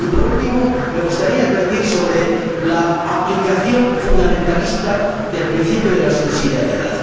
Y, por último, me gustaría advertir sobre la aplicación fundamentalista del principio de subsidiariedad.